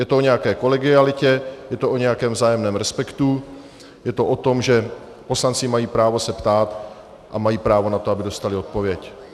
Je to o nějaké kolegialitě, je to o nějakém vzájemném respektu, je to o tom, že poslanci mají právo se ptát a mají právo na to, aby dostali odpověď.